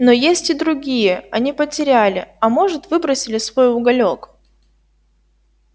но есть и другие они потеряли а может выбросили свой уголёк